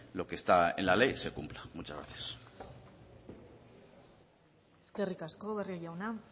lo que está en la ley se cumpla eskerrik asko barrio jauna